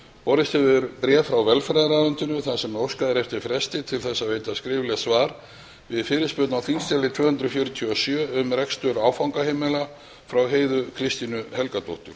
borist hefur bréf frá velferðarráðuneytinu þar sem óskað er eftir fresti til að veita skriflegt svar við fyrirspurn á þingskjali tvö hundruð fjörutíu og sjö um rekstur áfangaheimila frá heiðu kristínu helgadóttur